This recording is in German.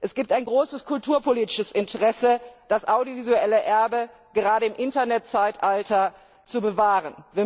Es gibt ein großes kulturpolitisches Interesse, das audiovisuelle Erbe gerade im Internetzeitalter zu bewahren.